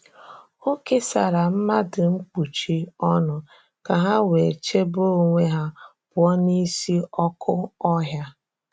Ọ kesàrà̀ mmadụ nkpuchi ọnụ ka hà wee chebe onwe ha pụọ̀ n’ísi ọkụ̀ ọhịa.